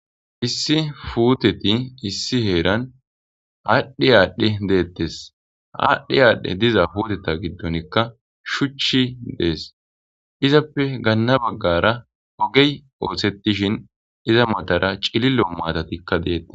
Issi fuuteti issi heeran aadhdhe aadhdhe deettes aadhdhe aadhdhe diza puuteta giddonikka shuchi dees izappe gaanna baggara ogey ooththetishin iza matara cilillo maatatikka deettes